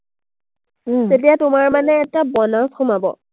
তেতিয়াই তোমাৰ মানে এটা bonus সোমাব।